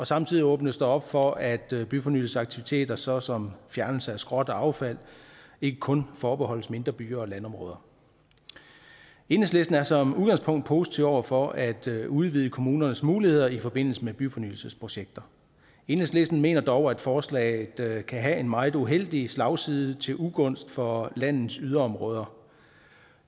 samtidig åbnes der op for at byfornyelsesaktiviteter såsom fjernelse af skrot og affald ikke kun forbeholdes mindre byer og landområder enhedslisten er som udgangspunkt positive over for at udvide kommunernes muligheder i forbindelse med byfornyelsesprojekter enhedslisten mener dog at forslaget kan have en meget uheldig slagside til ugunst for landets yderområder